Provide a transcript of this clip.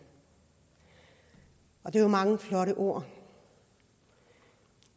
det er jo mange flotte ord